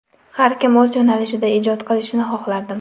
Har kim o‘z yo‘nalishida ijod qilishini xohlardim.